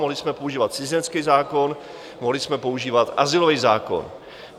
Mohli jsme používat cizinecký zákon, mohli jsme používat azylový zákon.